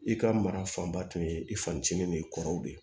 I ka mara fanba tun ye i facinin ni kɔrɔw de ye